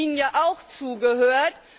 Ich habe ihm ja auch zugehört.